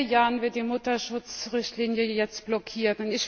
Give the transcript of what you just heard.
Seit vier Jahren wird die Mutterschutz Richtlinie jetzt blockiert.